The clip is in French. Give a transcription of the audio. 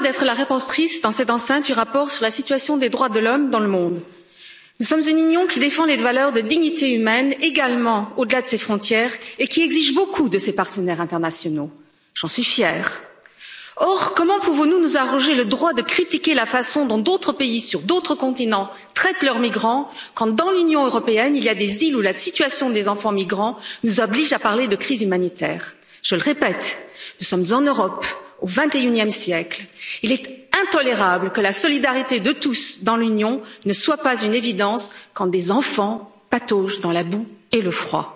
Nous sommes en Europe, au XXIème siècle, nous sommes dans l'Union européenne. J'ai l'honneur d'être la rapporteure, dans cette enceinte, du rapport sur la situation des droits de l'homme dans le monde. Nous sommes une Union qui défend les valeurs de dignité humaine, également au delà de ses frontières, et qui exige beaucoup de ses partenaires internationaux, ce dont je suis fière. Or, comment pouvons nous nous arroger le droit de critiquer la façon dont d'autres pays, sur d'autres continents, traitent leurs migrants quand dans l'Union européenne, il y a des îles où la situation des enfants migrants nous oblige à parler de crise humanitaire. Je le répète, nous sommes en Europe, au XXIème siècle, et il est intolérable que la solidarité de tous, dans l'Union, ne soit pas une évidence quand des enfants pataugent dans la boue et le froid.